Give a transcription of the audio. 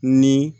Ni